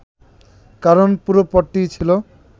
কারণ পুরো পথটিই ছিল